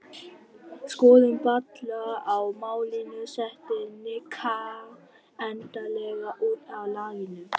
Skoðun Palla á málinu setti Nikka endanlega út af laginu.